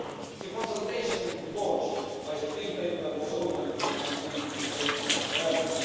The consultation launched by the Green Paper was opened until 20 November.